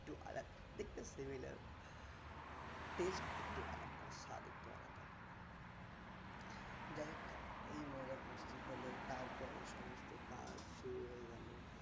একটু আলাদা দেখতে same লাগে taste একটু আলাদা স্বাদ একটু আলাদা যাইহোক এই মজা মস্তি হলো তারপরে কাজ শুরু হয়ে গেল